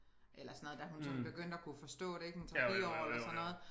Eller sådan noget da hun sådan begyndte at kunne forstå det ik en 3 4 år eller sådan noget